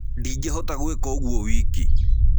Ndĩngĩhota gwĩka ũgũo wĩkĩ.